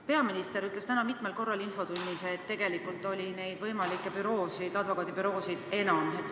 Peaminister ütles täna infotunnis mitmel korral, et tegelikult oli neid võimalikke advokaadibüroosid enam.